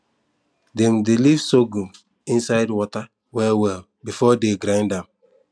dem dey leave sorghum inside water well well before dey grind am